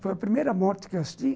Foi a primeira morte que eu assisti.